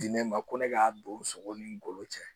Diinɛ ma ko ne k'a don sogo ni n golo cɛ